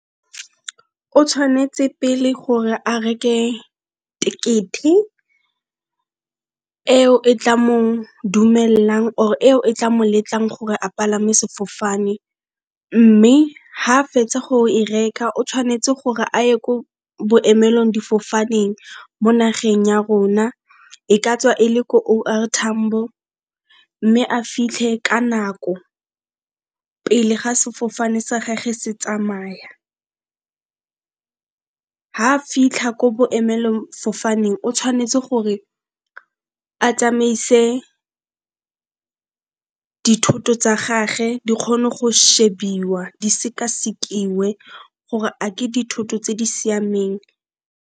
O tshwanetse pele gore a reke ticket eo e tla mo dumelang or eo e tla mo letlang gore a palame sefofane, mme ga fetsa go e reka o tshwanetse gore a ye ko boemelong difofaneng. Mo nageng ya rona e ka tswa e le ko O. R. Tambo, mme a fitlhe ka nako pele ga sefofane sa gage se tsamaya. Ga fitlha ko boemelong fofaneng o tshwanetse gore a tsamaise dithoto tsa gage di kgone go shebiwa, di sekasekiwe gore a ke dithoto tse di siameng.